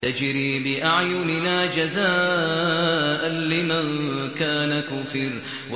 تَجْرِي بِأَعْيُنِنَا جَزَاءً لِّمَن كَانَ كُفِرَ